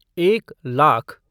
एक लाख